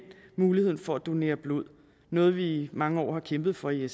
mulighed for at donere blod noget vi i mange år har kæmpet for i